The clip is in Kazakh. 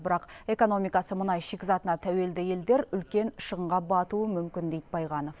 бірақ экономикасы мұнай шикізатына тәуелді елдер үлкен шығынға батуы мүмкін дейді байғанов